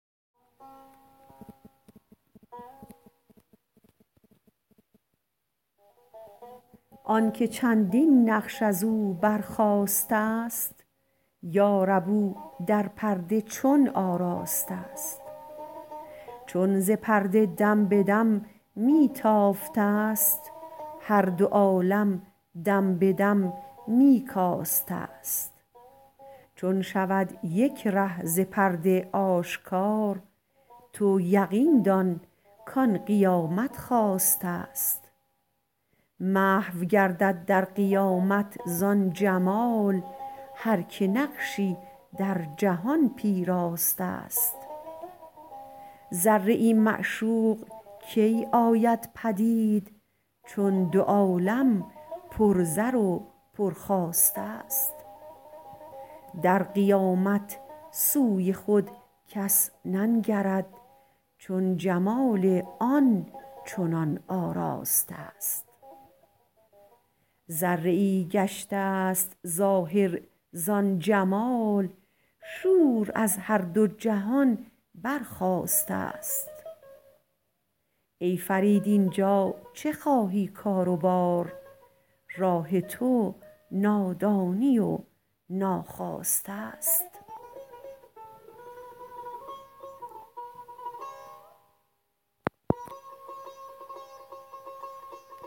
آنکه چندین نقش ازو برخاسته است یارب او در پرده چون آراسته است چون ز پرده دم به دم می تافته است هر دو عالم دم به دم می کاسته است چون شود یک ره ز پرده آشکار تو یقین دان کان قیامت خاسته است محو گردد در قیامت زان جمال هر که نقشی در جهان پیراسته است ذره ای معشوق کی آید پدید چون دو عالم پر زر و پر خواسته است در قیامت سوی خود کس ننگرد چون جمال آن چنان آراسته است ذره ای گشت است ظاهر زان جمال شور از هر دو جهان برخاسته است ای فرید اینجا چه خواهی کار و بار راه تو نادانی و ناخواسته است